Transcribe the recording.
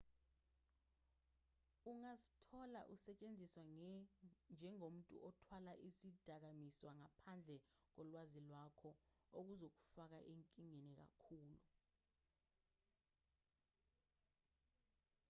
ungazithola usetshenziswa njengomuntu othwala izidakamizwa ngaphandle kolwazi lwakho okuzokufaka enkingeni enkulu